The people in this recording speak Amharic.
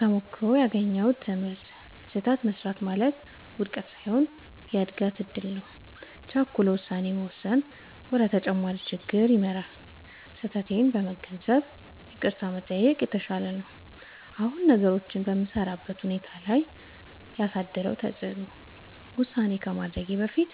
ተሞክሮው ያገኘሁት ትምህርት፦ · ስህተት መሥራት ማለት ውድቀት ሳይሆን የእድገት እድል ነው። · ቸኩሎ ውሳኔ መወሰን ወደ ተጨማሪ ችግር ይመራል። · ስህተቴን በመገንዘብ ይቅርታ መጠየቅ የተሻለ ነው። አሁን ነገሮችን በምሠራበት ሁኔታ ላይ ያሳደረው ተጽዕኖ፦ · ውሳኔ ከማድረጌ በፊት